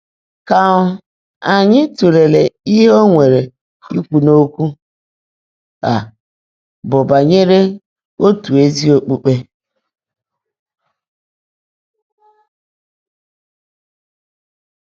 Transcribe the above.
Kà um ányị́ tụ́leèlé íhe ó nwèrè íkwú n’ókwụ́ á bụ́ bányèré ótú ézí ókpukpé.